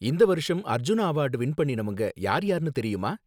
இந்த வருஷம் Arjuna award win பண்ணினவங்க யார்யார்னு தெரியுமா?